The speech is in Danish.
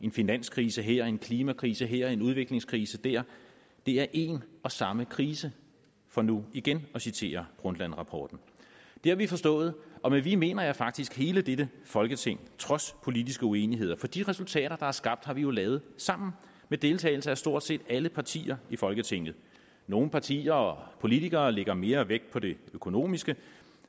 en finanskrise her en klimakrise her og en udviklingskrise der det er en og samme krise for nu igen at citere brundtland rapporten det har vi forstået og med vi mener jeg faktisk hele dette folketing trods politiske uenigheder for de resultater der er skabt har vi jo lavet sammen med deltagelse af stort set alle partier i folketinget nogle partier og politikere lægger mere vægt på det økonomiske